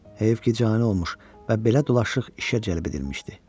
Heyf ki, cani olmuş və belə dolaşıq işə cəlb edilmişdi.